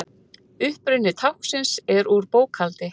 uppruni táknsins er úr bókhaldi